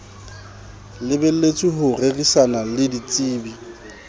lebelletswe ho rerisana le ditsebi